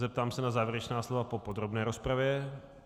Zeptám se na závěrečná slova po podrobné rozpravě.